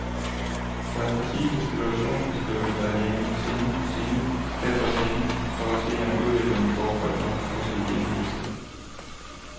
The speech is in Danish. Der er præcise situationsbeskrivelser af de enkelte scener, scene efter scene, for at se om udviklingen går godt nok, også i de enkelte trin.